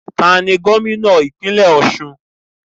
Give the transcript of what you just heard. Taàní Gómìnà ìpínlẹ́ Ọ̀sun?